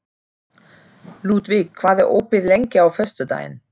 Ludvig, hvað er opið lengi á föstudaginn?